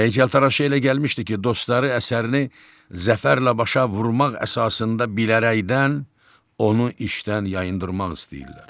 Heykəltaraşı elə gəlmişdi ki, dostları əsərini zəfərlə başa vurmaq əsasında bilərəkdən onu işdən yayındırmaq istəyirlər.